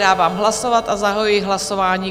Dávám hlasovat a zahajuji hlasování.